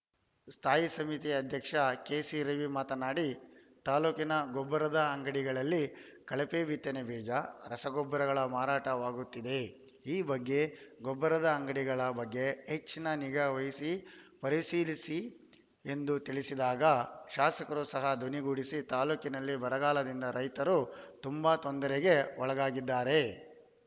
ಸ್ಥಾಯಿ ಸಮಿತಿ ಅಧ್ಯಕ್ಷ ಕೆಸಿರವಿ ಮಾತನಾಡಿ ತಾಲೂಕಿನ ಗೊಬ್ಬರದ ಅಂಗಡಿಗಳಲ್ಲಿ ಕಳಪೆ ಬಿತ್ತನೆಬೀಜ ರಸಗೊಬ್ಬರಗಳ ಮಾರಾಟ ವಾಗುತ್ತಿದೆ ಈ ಬಗ್ಗೆ ಗೊಬ್ಬರದ ಅಂಗಡಿಗಳ ಬಗ್ಗೆ ಹೆಚ್ಚಿನ ನಿಗಾ ವಹಿಸಿ ಪರಿಶೀಲಿಸಿ ಎಂದು ತಿಳಿಸಿದಾಗ ಶಾಸಕರು ಸಹಾ ಧ್ವನಿಗೂಡಿಸಿ ತಾಲೂಕಿನಲ್ಲಿ ಬರಗಾಲದಿಂದ ರೈತರು ತುಂಬಾ ತೊಂದರೆಗೆ ಒಳಗಾಗಿದ್ದಾರೆ